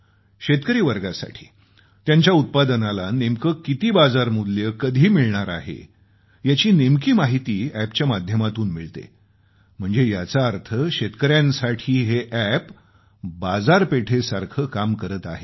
शेतकरी वर्गासाठी त्यांच्या उत्पादनाला नेमके किती बाजारमूल्य कधी मिळणार आहे याची नेमकी माहिती अॅपच्या माध्यमातून मिळते म्हणजे याचा अर्थ शेतकऱ्यांसाठी हे अॅप बाजारपेठेसारखं काम करत आहे